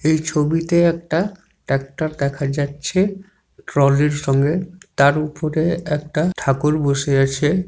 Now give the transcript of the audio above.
এই ছবিতে একটা ট্রাক্টর দেখা যাচ্ছে ট্রলির সঙ্গে তার উপরে একটা ঠাকুর বসে আছে।